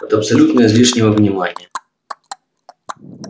от абсолютно излишнего внимания